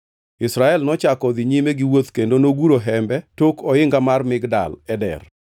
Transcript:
Israel nochako odhi nyime giwuoth kendo noguro hembe tok oinga mar Migdal Eder.